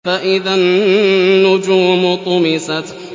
فَإِذَا النُّجُومُ طُمِسَتْ